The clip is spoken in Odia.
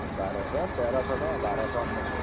ବାରସହ ତେରସହ ଟଙ୍କା ବାରସଅନେଶୋତ।